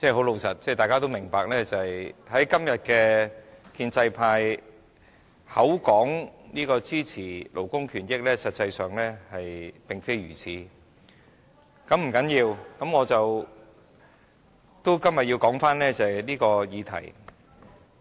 老實說，大家都明白，今天的建制派口說支持勞工權益，但實際上卻並非如此，但這不要緊，今天我要回到這項議題的討論上。